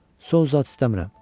Soğanı zat istəmirəm.